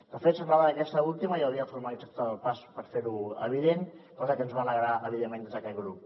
de fet semblava que aquesta última ja havia formalitzat el pas per fer ho evident cosa que ens va alegrar evidentment des d’aquest grup